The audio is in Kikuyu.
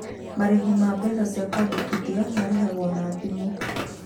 Marĩhi ma mbeca cia kũandĩkithia marĩhagwo na thimũ.